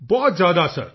ਬਹੁਤ ਜ਼ਿਆਦਾ ਸਰ